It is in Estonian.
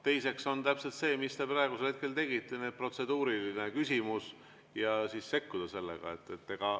Teiseks on täpselt see, mis te praegusel hetkel tegite: sekkuda protseduurilise küsimusega.